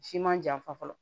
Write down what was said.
Siman janfa fɔlɔ